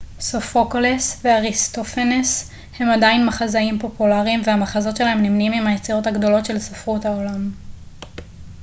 סופוקלס ואריסטופנס הם עדיין מחזאים פופולריים והמחזות שלהם נמנים עם היצירות הגדולות של ספרות העולם